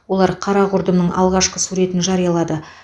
олар қара құрдымның алғашқы суретін жариялады